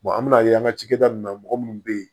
an bɛn'a ye an ka cakɛda mun na mɔgɔ munnu be yen